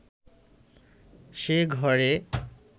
সে ঘরে